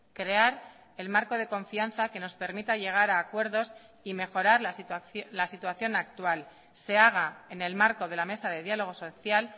crear el marco de confianza que nos permita llegar a acuerdos y mejorar la situación actual se haga en el marco de la mesa de diálogo social